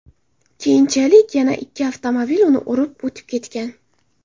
Keyinchalik yana ikki avtomobil uni urib o‘tib ketgan.